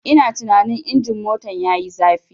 Ina tunanin injin motar yayi zafi.